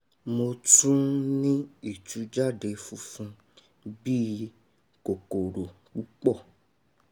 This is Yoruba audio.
mo tún n ní ìtújáde funfun bí i kòkòrò púpọ̀